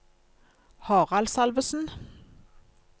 Harald Salvesen